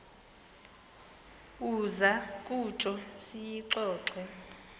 uza kutsho siyixoxe